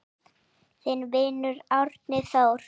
Þinn vinur, Árni Þór.